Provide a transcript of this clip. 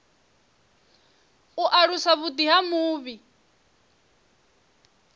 u alusa vhuḓi ha mufhe